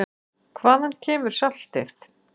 Hvaðan kemur saltið?